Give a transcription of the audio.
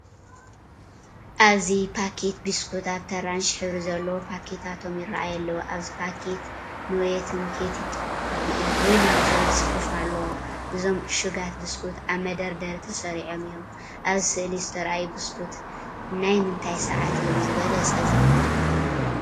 ኣብዚ ፓኬት ቢስኩት ኣብቲ ኣራንሺ ሕብሪ ዘለዎ ፓኬታቶም ይራኣዩ ኣለዉ። ኣብቲ ፓኬት “ኑርቴን ፔቲት ቤኡርሊ” ዝብል ጽሑፍ ኣለዎ። እዞም ዕሹጋት ቢስኩት ኣብ መደርደሪ ተሰሪዖም እዮም። ኣብ ስእሊ ዝተርኣዩ ቢስኩት ናኣብ ምንታይ ሰዓት እዮም ዝበለጸ ዝብላዕ?